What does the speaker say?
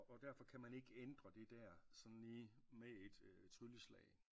Og derfor kan man ikke ændre det der sådan lige med et trylleslag